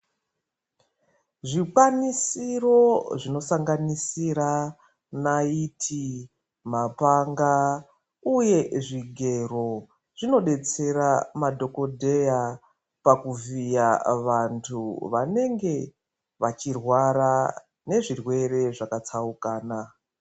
Zvikwanisiro zvinosanganisira naiti mapanga uye zvigero zvinodetsera madhokodheya pakuvhiya vantu vanenge vachirwara nezvirwere zvakatsaukana.